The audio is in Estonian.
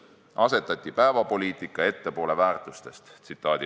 Asetati päevapoliitika ettepoole väärtustest.